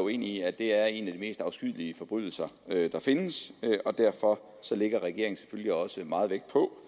uenige i at det er en af de mest afskyelige forbrydelser der findes derfor lægger regeringen selvfølgelig også meget vægt på